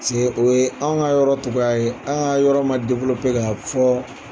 Paseke o ye an ka yɔrɔ cogoya ye an ka yɔrɔ man k'a fɔ.